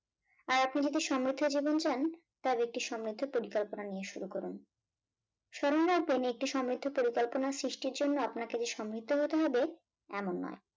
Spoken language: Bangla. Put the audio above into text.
আর আপনি যদি সমৃদ্ধ জীবন চান তবে একটু সমৃদ্ধ পরিকল্পনা নিয়ে শুরু করুন। স্মরণ রাখবেন একটি সমৃদ্ধ পরিকল্পনার সৃষ্টির জন্য। আপনাকে যে সমৃদ্ধ হতে হবে এমন নয়।